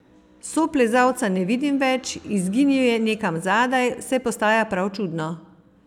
Soplezalca ne vidim več, izginil je nekam zadaj, vse postaja prav čudno.